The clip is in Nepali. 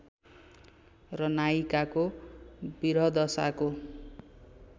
र नायिकाको विरहदशाको